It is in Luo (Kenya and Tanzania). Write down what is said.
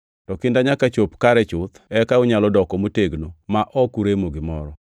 To kinda nyaka chop kare chuth eka unyalo doko motegno ma ok uremo gimoro.